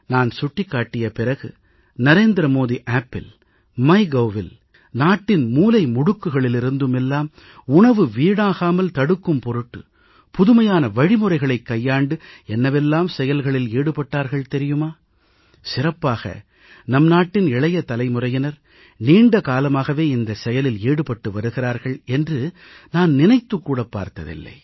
நான் சுட்டிக்காட்டிய பிறகு நரேந்திர மோடி செயலியில் மைகவ் மைகோவ் இணையதளத்தில் எல்லாம் நாட்டின் மூலைமுடுக்குகளிலிருந்து எல்லாம் உணவு வீணாகாமல் தடுக்கும் பொருட்டு புதுமையான வழிமுறைகளைக் கையாண்டு என்னவெல்லாம் செயல்களில் ஈடுபட்டார்கள் தெரியுமா சிறப்பாக நம் நாட்டின் இளைய தலைமுறையினர் நீண்ட காலமாகவே இந்தச் செயலில் ஈடுபட்டு வருகிறார்கள் என்று நான் நினைத்துக் கூட பார்த்ததில்லை